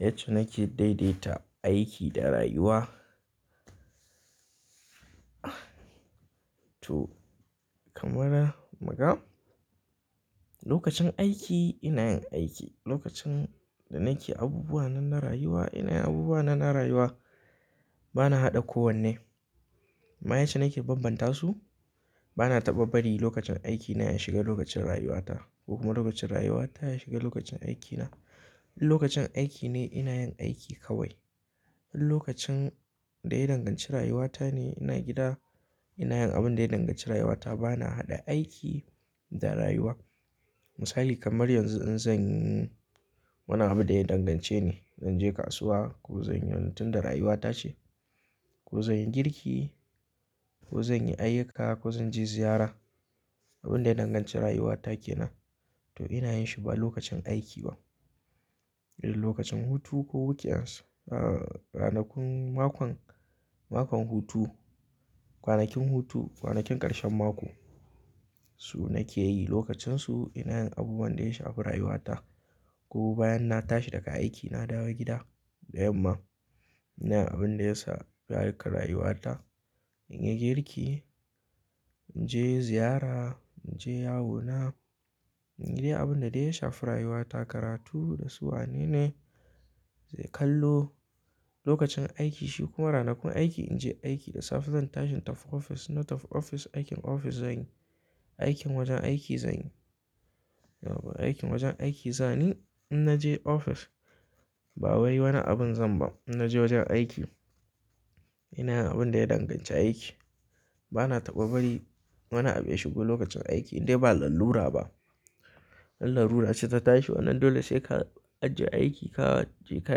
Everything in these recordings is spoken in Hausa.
Yace nake daidaita aiki da rayuwa. To, kamar muga okacin aiki ina yin aiki. Lokacin da nake abubuwa na na rayuwa ina yin abubuwa na na rayuwa bana haɗa kowanne. Amm yacce nake banbanta su. Bana taɓa bari lokacin aiki na ya shiga lokacin rayuwata ko kuma lokacin rayuwata ya shiga lokacin aikina. Lokacin aiki ne ina yin aiki kawai. Lokacin da ina danganci rayuwata ne ina gida ina yin abin da yana danganci rayuwata bana haɗa aiki da rayuwa. Misali kamar yanzu in zan yi, muna abin da yana dangance ne. Zan je kasuwa ko zan yi wani tun da rayuwata ce ko zan yi girki ko zan yi ayyuka ko zan je ziyara. Abin da danganci rayuwata ke nan to ina yin shi ba lokacin aiki ba. Idan lokacin hutu ko wuke ans-- ah, ranakun mako, mako hutu, kwanakin hutu, kwanakin ƙarshen mako su nake yi lokacinsu ina yin abubuwan da ya shafi rayuwata ko bayan na tashi daga aiki na dawo gida da yamma ina yin abin da yasa tsareka rayuwata. In yi girki, in je ziyara, in je yawona, in yi dai abin da dai ya shafi rayuwata karatu da su wanene zai kallo. Lokacin aiki shi kuma ranakun aiki in je aiki da safe zan tashi taf ofis na tafi ofis aikin ofis zan yi. Aikin wajen aiki zan yi. Yau ba aikin wajen aiki zan yi in na je ofis ba wai wani abin zan ba in na je wajen aiki. Ina yin abin da ya danganci aiki. Bana taɓa bari wani abu ya shigo lokacin aiki idan ba lalura ba. In lalura ce ta tashi wannan dole sai ka ajiye aiki ka je ka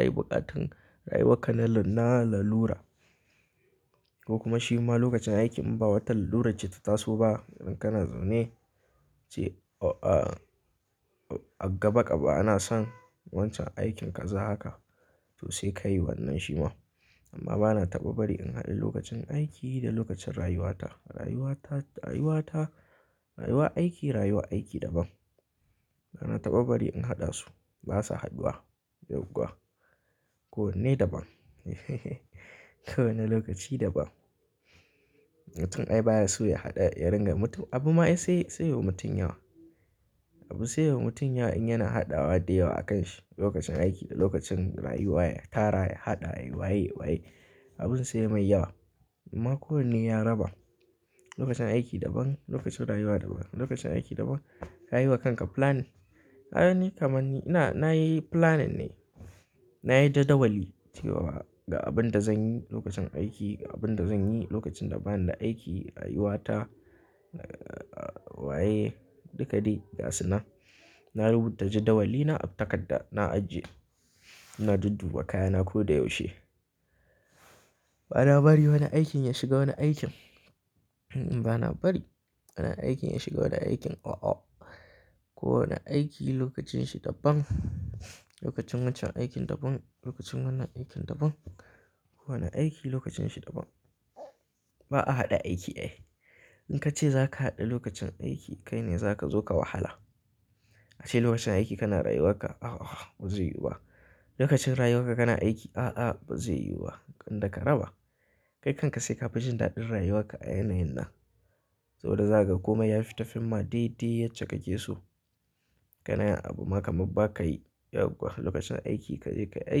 yi buƙatan rayuwarka na lalura ko kuma shi ma lokacin aiki in ba wata lalura ce ta taso ba idan kana zaune ce a gaba ƙaba ana son wancan aikin ka za haka to sai ka yi wannan shi ma. Amma bana taɓa bari in haɗe lokacin aiki da lokacin rayuwata. Rayuwata, rayuwata, rayuwa aiki, rayuwa aiki daban. Bana taɓa bari in haɗa su. Ba sa haduwa yau kuwa. Kowanne daban. Ko wane lokaci daban. Mutum ai baya so ya haɗa ya ringa mutum abu ma ya sai, sai wa mutum yawa. Abu sai wa mutum yawa in yana haɗawa da yawa a kan shi lokacin aiki da lokacin rayuwa ya tara ya haɗa rayuwa ya yi, wa yi abun sai mai yawa. Amma kowanne ya raba. Lokacin aiki daban, lokacin rayuwa daban. Lokacin aiki daban ka yi wa kanka flan. Kaga ni kamar ni ina, na yi planning ne. Na yi jadawali cewa ga abin da zan yi lokacin aiki, abin da zan yi lokacin da ba ni da aiki rayuwata, wa yi duka dai gasuna. Na rubuta jadawalina a takarda na ajiye. Na dudduba kayana ko da yaushe. Bana bari wani aikin ya shiga wani aikin. Bana bari wani aikin ya shiga wani aikin. Oh, oh. Ko wane aiki lokacinsa daban. Lokacin wancan aikin daban, lokacin wannan aikin daban. Ko wane aiki lokacinsa daban. Ba a haɗa aiki ai. In ka ce za ka haɗe lokacin aiki kai ne za ka zo ka wahala. A ce lokacin aiki kana rayuwar ka, ah, ah ba zai yiwu ba. Lokacin rayuwar ka kana aiki, ah, ah ba zai yiwu ba. In da ka raba kai kanka sai ka fahimci daɗin rayuwarka a yanayin nan. Saboda za ka koma ya fita fim ma dai dai yace kake so. Kana yin abu ma kamar ba ka yi yau kuwa lokacin aiki ka je ka yi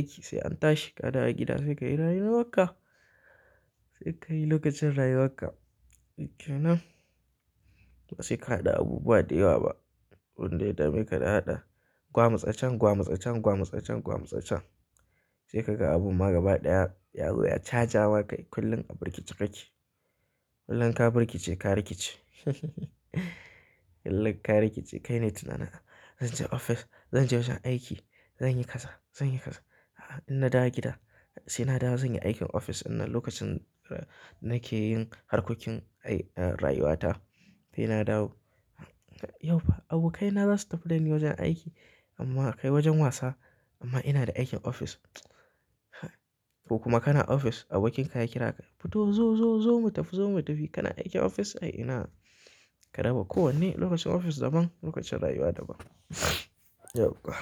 aiki sai an tashi ka dawo gida sai ka yi rayuwar ka. Sai ka yi lokacin rayuwar ka. Ke nan sai ka haɗa abubuwa da yawa ba wanda ya dame ka da haɗa. Gwam tsacen, gwam tsacen, gwam tsacen, gwam tsacen. Sai ka ga abu ma gaba ɗaya ya zo ya caja wa kai kullum a birkici kake. Kullum ka birkice ka rikice. Kullum ka rikice kai ne tun ana, zan je ofis, zan je wajen aiki, zan yi kaza, zan yi kaza. A a In na dawo gida sai na dawo zan yi aikin ofis. In na lokacin nake yin harkokin aiki, rayuwata dai na dawo. Yau ba abokaina za su tafi da ni wajen aiki amma kai wajen wasa amma ina da aikin ofis. Ko kuma kana ofis abokin ka ya kira ka fito zo, zo, zo mu tafi, zo mu tafi kana aikin ofis. Ai ina ka raba kowanne lokacin ofis daban lokacin rayuwa daban. Yauwa.